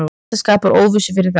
Þetta skapar óvissu fyrir þá.